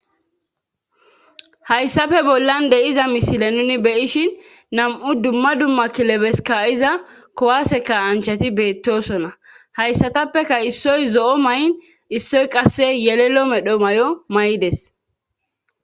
Hayssafe bollan de'iza misile nuni beyishin nam'u dumma dumma kilebeska iza kowaseka anchati beettosona hayssatappeka issoy zo'o may7n issoy qasse yelelo medho mayo maydes